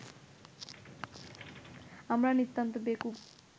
আমরা নিতান্ত বেকুব